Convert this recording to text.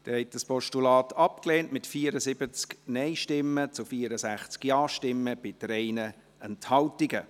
Sie haben das Postulat abgelehnt, mit 74 Nein- zu 64 Ja-Stimmen bei 3 Enthaltungen.